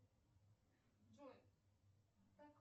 джой так